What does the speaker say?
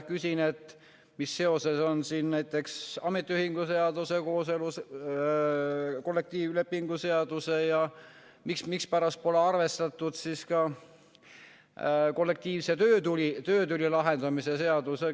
Küsin, et mis seosed on siin näiteks ametiühingute seaduse ja kollektiivlepingu seadusega ja mispärast pole arvestatud kollektiivse töötüli lahendamise seadusega.